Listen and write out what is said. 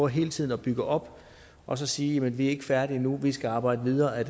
hele tiden at bygge op og så sige vi er ikke færdige endnu vi skal arbejde videre ad